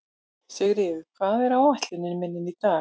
Sigríður, hvað er á áætluninni minni í dag?